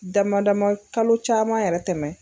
Dama dama kalo caman yɛrɛ tɛmɛ